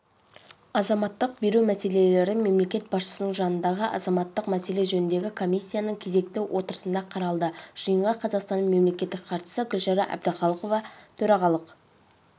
азаматтық беру мәселелері мемлекет басшысының жанындағы азаматтық мәселе жөніндегі коммиссияның кезекті отырысында қаралды жиынға қазақстанның мемлекеттік хатшысы гүлшара әбдіхалықова төрағалық